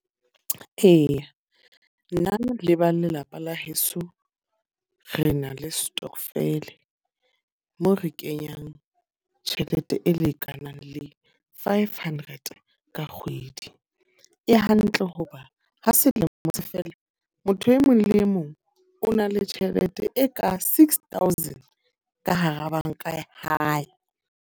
Eya, nna le ba lelapa la heso re na le stokvel, moo re kenyang tjhelete e lekanang le five hundred ranta ka kgwedi. E hantle ho ba ha selemo se fela, motho e mong le mong o na le tjhelete e ka six thousand ka hara banka ya hae.